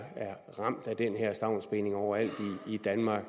er ramt af den her stavnsbinding overalt i danmark